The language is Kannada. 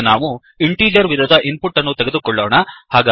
ಈಗ ನಾವು ಇಂಟಿಜರ್ ವಿಧದ ಇನ್ ಪುಟ್ ಅನ್ನು ತೆಗೆದುಕೊಳ್ಳೋಣ